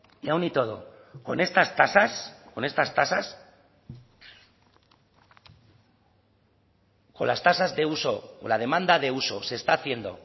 y aún y todo con estas tasas con estas tasas con las tasas de uso o la demanda de uso se está haciendo